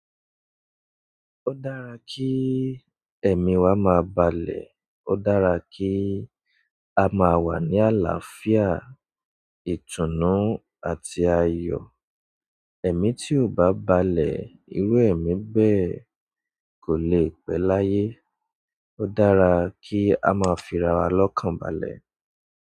Ó dára kí ẹ̀mí wa máa balẹ̀, ó dára kí a máa wà ní àlàáfíà, ìtùnú àti ayọ̀. Ẹ̀mí tí ò bá balẹ̀, irú ẹ̀mí bẹ́ẹ̀ kò lè pẹ́ láyé. O dára ki a ma fira wa lọ́kànbalẹ̀.